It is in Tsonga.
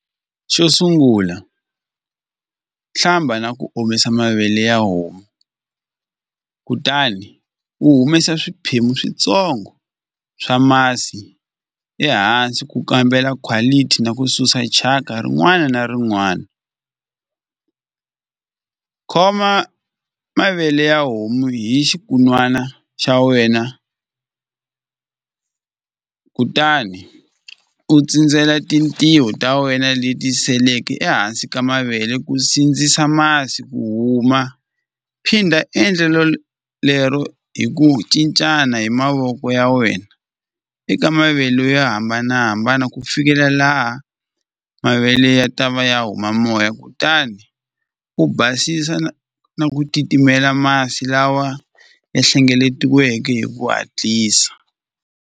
Xo sungula hlamba na ku omisa mavele ya homu kutani u humesa swiphemu swintsongo swa masi ehansi ku kambela quality na ku susa thyaka rin'wana na rin'wana khoma mavele ya homu hi xikun'wana xa wena kutani u tsindzela tintiho ta wena leti seleke ehansi ka mavele ku sindzisa masi ku huma phinda endlelo lero hi ku cincana hi mavoko ya wena eka mavele yo hambanahambana ku fikela laha mavele ya ta va ya huma moya kutani u basisa na na ku titimela masi lawa ya hlengeletiweke hi ku hatlisa.